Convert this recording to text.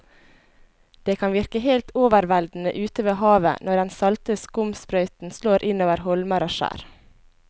Det kan virke helt overveldende ute ved havet når den salte skumsprøyten slår innover holmer og skjær.